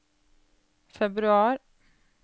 februar